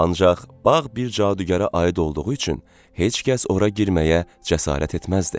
Ancaq bağ bir cadugərə aid olduğu üçün heç kəs ora girməyə cəsarət etməzdi.